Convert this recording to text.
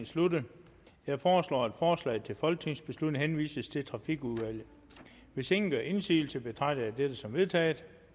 sluttet jeg foreslår at forslaget til folketingsbeslutning henvises til trafikudvalget hvis ingen gør indsigelse betragter jeg dette som vedtaget